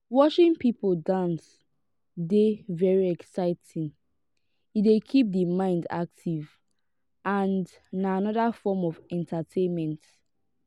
watching people dance dey very exciting e dey keep di mind active and na anoda form of entertainment